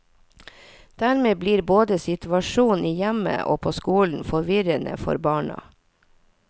Dermed blir både situasjonen i hjemmet og på skolen forvirrende for barna.